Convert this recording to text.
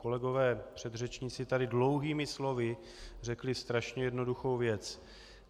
Kolegové předřečníci tady dlouhými slovy řekli strašně jednoduchou věc.